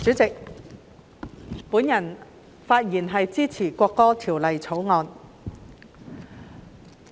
主席，我發言支持《國歌條例草案》。